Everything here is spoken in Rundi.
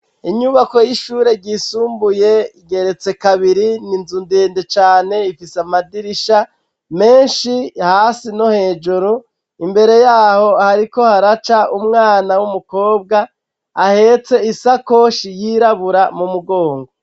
Inyubako y'ishure ryisumbuye igeretse kabiri ninzu ndende cane ifise amadirisha menshi hasi no hejuru ,imbere yaho hariko haraca umwana w'umukobwa ahetse isakoshi yirabura mu mugongo.